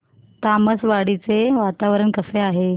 तामसवाडी चे वातावरण कसे आहे